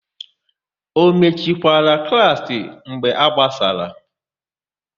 O mechikwara klaasị mgbe a gbasara?